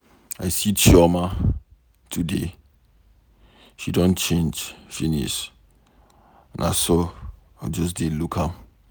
I see Chioma today. She don change finish, na so I just dey look am.